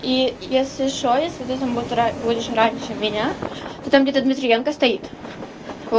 и если что если ты там будет будешь раньше меня то там где-то дмитриенко стоит во